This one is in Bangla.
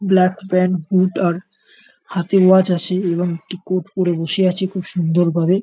ব্ল্যাক প্যান্ট বুট আর হাতে ওয়াচ আছে এবং একটি কোট পরে বসে আছে খুব সুন্দর ভাবে।